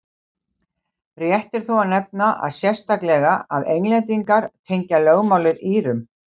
Rétt er þó að nefna sérstaklega að Englendingar tengja lögmálið Írum.